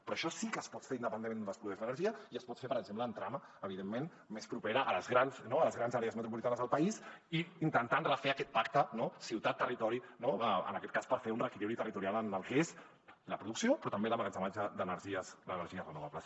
però això sí que es pot fer independentment d’on es produeix l’energia i es pot fer per exemple en trama evidentment més propera a les grans àrees metropolitanes del país i intentant refer aquest pacte no ciutat territori en aquest cas per fer un reequilibri territorial en el que és la producció però també l’emmagatzematge d’energies renovables